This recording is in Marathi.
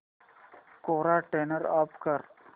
कोरा टर्न ऑफ कर